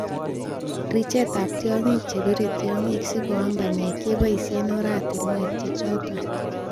Richetab tiongik chebire tiongik sikoam banyek keboishen oratinwek che choton.